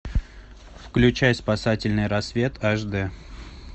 включай спасательный рассвет аш дэ